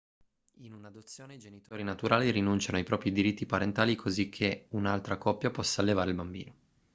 in un'adozione i genitori naturali rinunciano ai propri diritti parentali così che un'altra coppia possa allevare il bambino